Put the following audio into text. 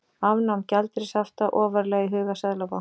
Afnám gjaldeyrishafta ofarlega í huga seðlabanka